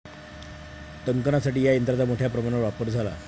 टंकनासाठी या यंत्रांचा मोठ्या प्रमाणावर वापर झाला.